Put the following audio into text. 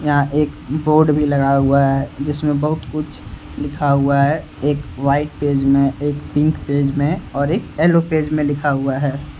यहां एक बोर्ड भी लगा हुआ है जिसमें बहुत कुछ लिखा हुआ है एक वाइट पेज में एक पिंक पेज में और एक येलो पेज में लिखा हुआ है।